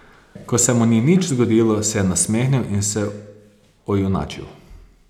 Ko se mu ni nič zgodilo, se je nasmehnil in se ojunačil.